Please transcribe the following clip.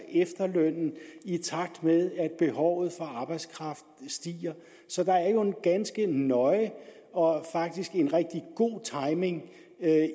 efterlønnen i takt med at behovet for arbejdskraft stiger så der er jo en ganske nøje og faktisk god timing